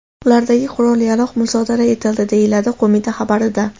Ulardagi qurol-yarog‘ musodara etildi”, deyiladi qo‘mita xabarida.